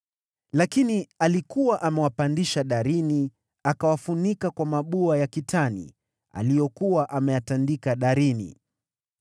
(Lakini alikuwa amewapandisha darini akawafunika kwa mabua ya kitani aliyokuwa ameyatandika darini.)